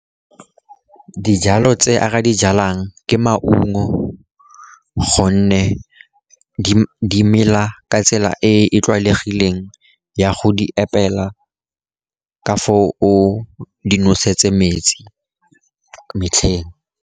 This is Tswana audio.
Dijalo tse a ka di jalang ke maungo, gonne di mela ka tsela e e tlwaelegileng ya go di apela, ka foo o di nosetse metsi metlheng.